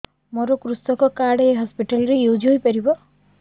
ମୋର କୃଷକ କାର୍ଡ ଏ ହସପିଟାଲ ରେ ୟୁଜ଼ ହୋଇପାରିବ